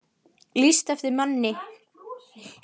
Lýst eftir manni